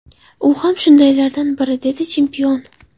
U ham shundaylardan biri”, dedi chempion.